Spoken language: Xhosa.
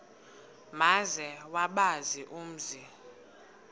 maze bawazi umzi